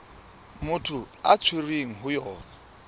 motho a tshwerweng ho yona